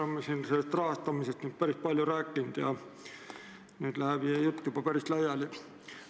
Me oleme siin päris palju rahastamisest rääkinud ja nüüd läheb jutt juba väga laiali.